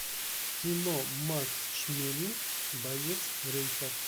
кино макс шмелинг боец рейха